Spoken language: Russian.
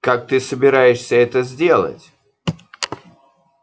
как ты собираешься это сделать